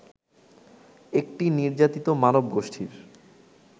একটি নির্যাতিত মানবগোষ্ঠীর